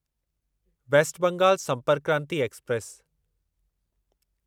waste Bengal Sampark Kranti express